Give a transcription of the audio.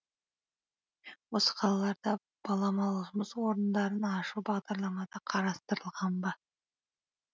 осы қалаларда баламалы жұмыс орындарын ашу бағдарламада қарастырылған ба